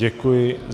Děkuji.